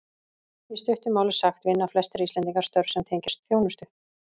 Í stuttu máli sagt vinna flestir Íslendingar störf sem tengjast þjónustu.